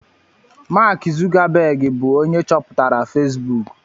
Mark zukabegi bu onye cheputara fesbuku